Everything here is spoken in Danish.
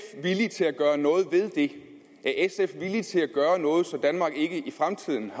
villig til at gøre noget ved det er sf villig til at gøre noget så danmark ikke i fremtiden